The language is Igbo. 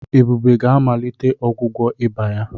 Ebube ga-amalite ọgwụgwọ ịba ya.